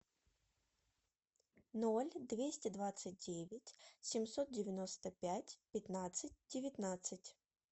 ноль двести двадцать девять семьсот девяносто пять пятнадцать девятнадцать